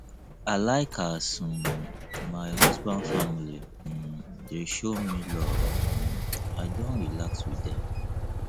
i like as um my husband family um dey show me love um i don relax wit dem